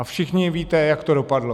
A všichni víte, jak to dopadlo.